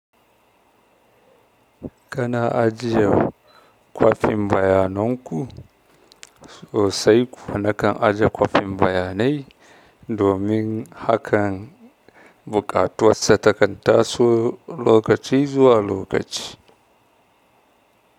Kana ajiye kwafin bayanan ku? Sosai kuma na kan aje kwafin bayanai domin hakan buƙatuwarsa takan taso lokaci zuwa lokaci.